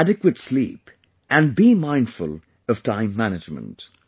Get adequate sleep and be mindful of time management